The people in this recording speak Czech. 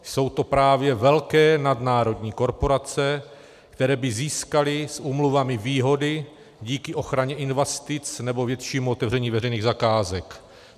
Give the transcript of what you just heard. Jsou to právě velké nadnárodní korporace, které by získaly s úmluvami výhody díky ochraně investic nebo větším otevřením veřejných zakázek.